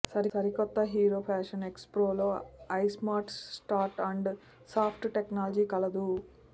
సరికొత్త Hero Passion XPro లో iSmart start and stop technology కలదు